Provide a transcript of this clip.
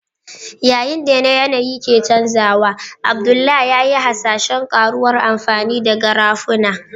Yayin da yanayi ke canjawa, Abdullah ya yi hasashen ƙaruwar amfani da Garafuni.